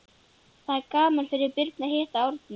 Það er gaman fyrir Birnu að hitta Árna.